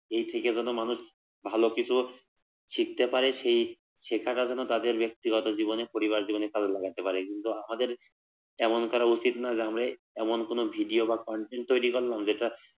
এই শিখে গেলে মানুষ ভালো কিছু শিখতে পারে সেই শেখাগুলো তাদের ব্যক্তিগত জীবনে পরিবর্তনের জন্য কাজে লাগাতে পারে কিন্তু আমাদের কমেন্ট করা উচিত না আমরা এমন কোন ভিডিও বা content তৈরি করলাম যেটা